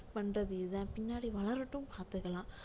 பண்றது இதுதான் பின்னாடி வளரட்டும் பார்த்துக்கலாம்